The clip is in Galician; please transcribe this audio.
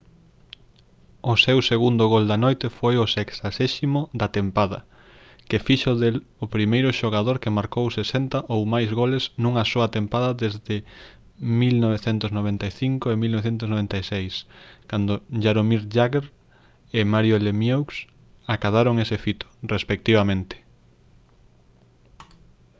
o seu segundo gol da noite foi o 60.º da tempada que fixo del o primeiro xogador que marcou 60 ou máis goles nunha soa tempada desde 1995-96 cando jaromir jagr e mario lemieux acadaron ese fito respectivamente